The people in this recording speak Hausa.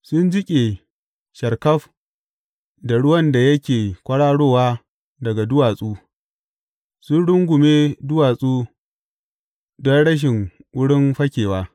Sun jiƙe sharkaf da ruwan da yake kwararowa daga duwatsu, sun rungume duwatsu don rashin wurin fakewa.